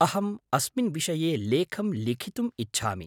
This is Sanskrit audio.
अहम् अस्मिन् विषये लेखं लिखितुम् इच्छामि।